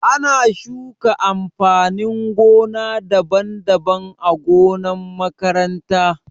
Ana shuka amfanin gona daban-daban ã gonan makaranta.